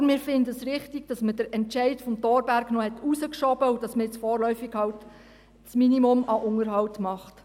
Oder wir finden es richtig, dass man den Entscheid Thorberg noch hinausgeschoben hat und man nun vorläufig halt das Minimum an Unterhalt macht.